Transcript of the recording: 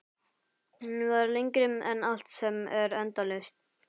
Hún var lengri en allt sem er endalaust.